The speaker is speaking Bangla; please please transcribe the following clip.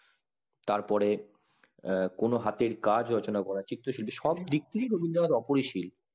তারপরে আঃ কোনো হাতের কাজ রচনা করা চিত্ত সুচে সবদিক থেকে রবীন্দ্রনাথ অপরিসীম